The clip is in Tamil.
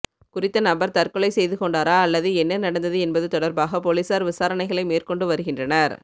குறித்த நபர் தற்கொலை செய்து கொண்டாரா அல்லது என்ன நடந்தது என்பது தொடர்பாக பொலிசார் விசாரணைகளை மேற்கொண்டு வருகின்றனர்